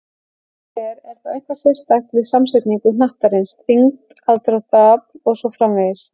Ef svo er, er þá eitthvað sérstakt við samsetningu hnattarins, þyngd, aðdráttarafl og svo framvegis?